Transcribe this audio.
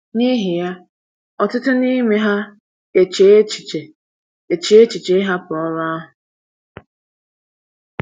N’ihi ya, ọtụtụ n’ime ha eche echiche eche echiche ịhapụ ọrụ ahụ.